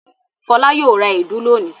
Fọlá yóò ra èédú lónìí.